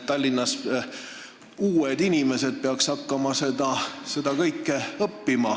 Tallinnas peaksid uued inimesed hakkama seda kõike õppima.